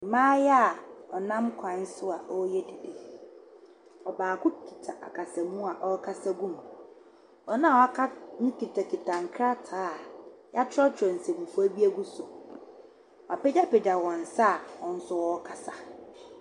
Maayewa wɔnam kwan so a wɔɔyɛ dede. Ɔbaako kita akasamu a ɔɔkasa gu mu. Wɔn a waka no kitakita nkrataa yatwrɔtwrɔ nsɛmfua bi egu so. Wapegyapegya wɔn nsa a wɔn so wɔɔkasa.